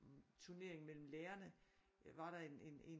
Turnering mellem lærerne der var der en en